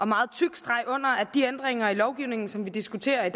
meget tyk streg under at de ændringer i lovgivningen som vi diskuterer i